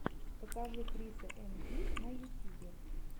покажи криса эм ди на ютьюбе